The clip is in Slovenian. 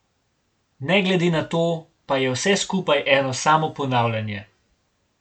Ne glede na to pa je vse skupaj eno samo ponavljanje.